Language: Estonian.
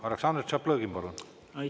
Aleksandr Tšaplõgin, palun!